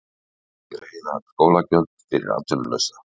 Greiða skólagjöld fyrir atvinnulausa